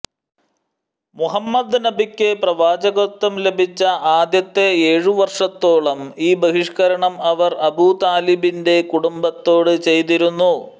മുഹമ്മദ് നബിക്ക് പ്രവാചകത്വം ലഭിച്ച ആദ്യത്തെ ഏഴ് വർഷത്തോളം ഈ ബഹിഷ്ക്കരണം അവർ അബൂതാലിബിൻറെ കുടുംബത്തോട് ചെയ്തിരുന്നു